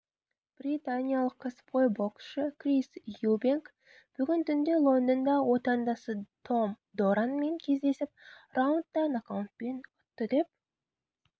британиялық кәсіпқой боксшы крис юбенк бүгін түнде лондонда отандасы том доранмен кездесіп раундта нокаутпен ұтты деп